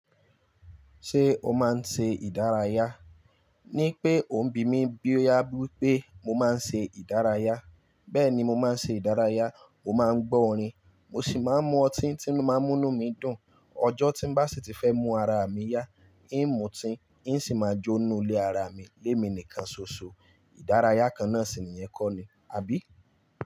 Ṣé o máa ń ṣe ìdárayá? Ní pé ò ń bi mí bí ó yá bí pé mo máa ń ṣe ìdárayá. Bẹ́ẹ̀ni mo máa ń ṣe ìdárayá. mÓ máa ń gbọ́ orin, mo sì máa ń mu ọtí tí ó máa ń munú mí dùn. Ọjọ́ tí n bá sì ti fẹ́ mu ara mi yá, ì ń mutí, ìn sì máa jó ninú ilé ara mi lé mi nìkan ṣoṣo. Ìdárayá kan náà sì ni ìyẹn kó ni, àbí?